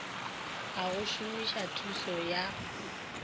a go somisa thuso ya